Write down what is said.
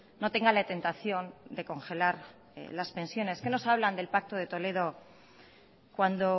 no tenga la tentación de congelar las pensiones qué nos hablan del pacto de toledo cuando